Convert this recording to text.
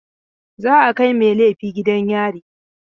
Za a kai mai laifi gidan yari.